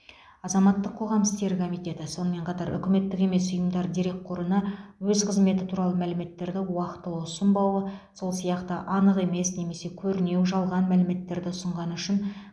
азаматтық қоғам істері комитеті сонымен қатар үкіметтік емес ұйымдар дерекқорына өз қызметі туралы мәліметтерді уақытылы ұсынбауы сол сияқты анық емес немесе көрнеу жалған мәліметтерді ұсынғаны үшін